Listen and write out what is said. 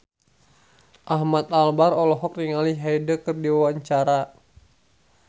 Ahmad Albar olohok ningali Hyde keur diwawancara